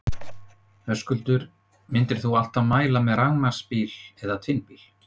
Höskuldur: Myndir þú alltaf mæla með rafmagnsbíla eða tvinnbíl?